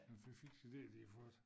Den en fy fiks idé de har fået